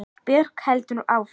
Björk heldur áfram.